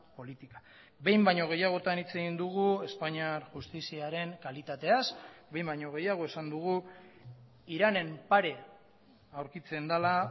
política behin baino gehiagotan hitz egin dugu espainiar justiziaren kalitateaz behin baino gehiago esan dugu iranen pare aurkitzen dela